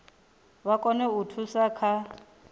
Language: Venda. vha kone u thusa kha